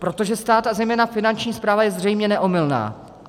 Protože stát, a zejména Finanční správa je zřejmě neomylná.